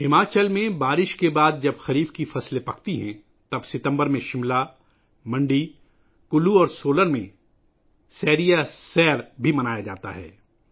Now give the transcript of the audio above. ہماچل میں بارش کے بعد ، جب خریف کی فصلیں پکتی ہیں ، تب ستمبر میں شملہ ، منڈی ، کلو اور سولن میں سیری یا سیر منایا جاتا ہے